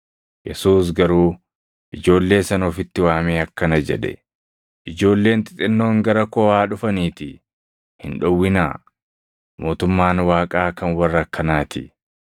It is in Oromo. Yesuus garuu ijoollee sana ofitti waamee akkana jedhe; “Ijoolleen xixinnoon gara koo haa dhufaniitii hin dhowwinaa; mootummaan Waaqaa kan warra akkanaatii.